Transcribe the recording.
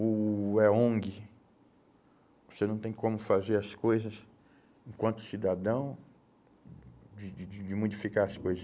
Ou é ONG, você não tem como fazer as coisas enquanto cidadão, de de de modificar as coisas.